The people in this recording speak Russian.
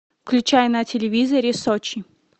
включай на телевизоре сочи